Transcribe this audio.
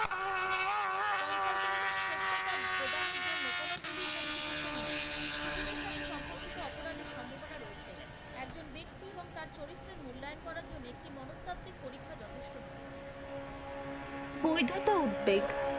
অপরাধের সম্ভাবনা রয়েছে, একজন ব্যক্তি তার চরিত্রের মূল্যায়ন করার জন্যে একটি মনস্তাত্ত্বিক যথেষ্ট নয়। বৈধতা উদ্বেগ।